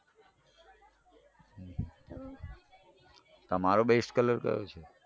તમારો best colour કયો છે.